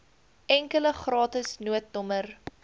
enkele gratis noodnommer